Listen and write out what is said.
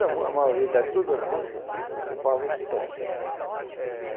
A maioria da todas as músicas ocupava esse tom.